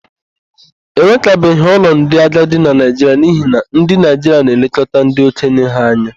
E nwekabeghị ụlọ ndị agadi na Naịjiria n'ihi na ndị Naịjiria na-elekọta ndị okenye ha anya.